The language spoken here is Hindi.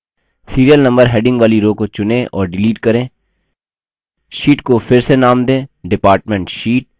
serial number heading वाली row को चुनें और डिलीट करें sheet को फिर से नाम दें department sheet